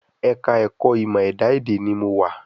Ẹ̀ka ẹ̀kọ́ ìmọ̀ ẹ̀dá èdè ni mo wa